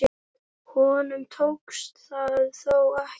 Honum tókst það þó ekki.